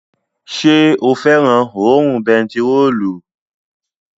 Ṣé o fẹ́ràn òórùn bentiróòlù?